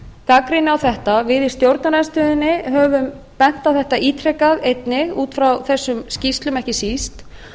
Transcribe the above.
gagnrýni á þetta við í stjórnarandstöðunni höfum bent á þetta ítrekað einnig út frá þessum skýrslum ekki síst